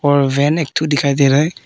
और वैन एक ठो दिखाई दे रहा है।